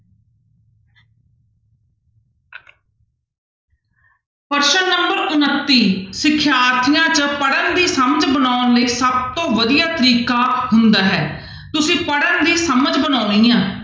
ਪ੍ਰਸ਼ਨ number ਉਣਤੀ ਸਿਖਿਆਰਥੀਆਂ 'ਚ ਪੜ੍ਹਨ ਦੀ ਸਮਝ ਬਣਾਉਣ ਲਈ ਸਭ ਤੋਂ ਵਧੀਆ ਤਰੀਕਾ ਹੁੰਦਾ ਹੈ ਤੁਸੀਂ ਪੜ੍ਹਨ ਦੀ ਸਮਝ ਬਣਾਉਣੀ ਆਂ।